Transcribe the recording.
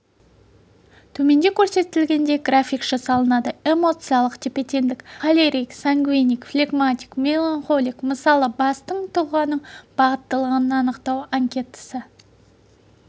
төменде көрсетілгендей график жасалынады эмоциялық тепе-теңдік холерик сангвиник флегматик меланхолик мысалы бастың тұлғаның бағыттылығын анықтау анкетасы